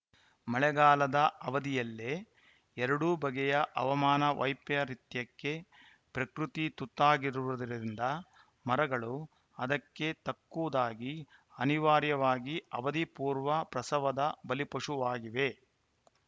ಮಳೆಗಾಲದ ಅವಧಿಯಲ್ಲೇ ಎರಡು ಬಗೆಯ ಹವಾಮಾನ ವೈಪರೀತ್ಯಕ್ಕೆ ಪ್ರಕೃತಿ ತುತ್ತಾಗಿರುವುದರಿಂದ ಮರಗಳೂ ಅದಕ್ಕೆ ತಕ್ಕುದಾಗಿ ಅನಿವಾರ್ಯವಾಗಿ ಅವಧಿಪೂರ್ವ ಪ್ರಸವದ ಬಲಿಪಶುವಾಗಿವೆ